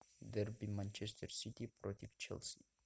дерби манчестер сити против челси